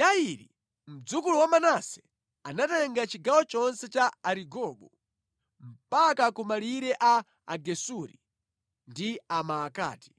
Yairi, mdzukulu wa Manase, anatenga chigawo chonse cha Arigobu mpaka ku malire a Agesuri ndi Amaakati.